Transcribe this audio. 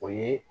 O ye